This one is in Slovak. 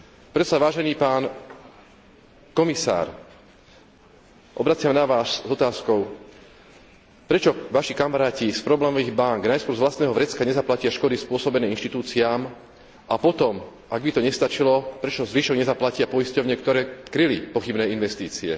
Preto sa, vážený pán komisár, obraciam na vás s otázkou prečo vaši kamaráti z problémových bánk najskôr z vlastného vrecka nezaplatia škody spôsobené inštitúciám a potom, ak by to nestačilo, prečo zvyšok nezaplatia poisťovne, ktoré kryli pochybné investície?